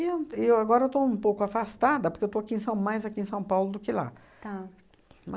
E eu e eu agora eu estou um pouco afastada, porque eu estou aqui em São mais aqui em São Paulo do que lá. Tá.